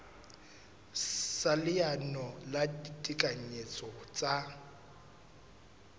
sa leano la ditekanyetso tsa